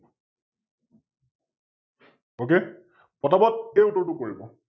Ok ফটা ফট এই উত্তৰটো কৰিব?